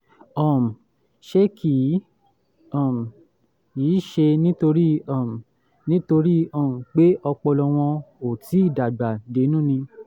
um ṣé kì um í ṣe nítorí um nítorí um pé ọpọlọ wọn ò tíì dàgbà dénú ni?